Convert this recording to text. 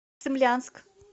цимлянск